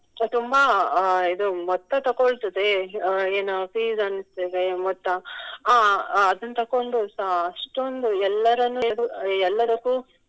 ತುಂಬಾ ಇದು ಮೊತ್ತ ತೊಕೊಳ್ತದೆ ಅಹ್ ಏನು fees ಅಂತೇವೆ ಮೊತ್ತ ಅಹ್ ಅಹ್ ಅದನ್ನು ತೋಕೊಂಡು ಸಹ ಅಷ್ಟೊಂದು ಎಲ್ಲರ ಮೇಲು ಎಲ್ಲದಕ್ಕೂ